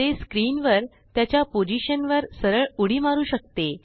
ते स्क्रीनवर त्याच्यापोझिशनवर सरळ उडी मारू शकते